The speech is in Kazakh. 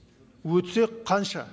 өтсе қанша